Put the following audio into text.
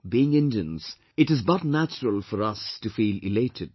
Being Indians, it is but natural for us to feel elated